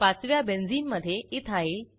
पाचव्या बेंझिनमधे इथाइल